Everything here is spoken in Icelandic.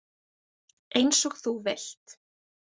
Eins og þú vilt.